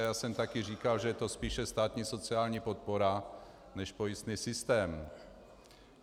A já jsem také říkal, že je to spíše státní sociální podpora než pojistný systém.